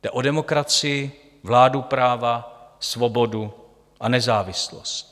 Jde o demokracii, vládu práva, svobodu a nezávislost.